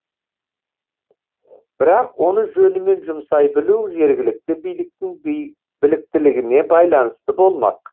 бірақ оны жөнімен жұмсай білу жергілікті биліктің біліктілігіне байланысты болмақ